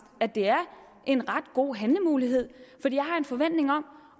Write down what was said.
at det er en ret god handlemulighed for jeg har en forventning